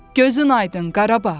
Gözün aydın Qarabağ.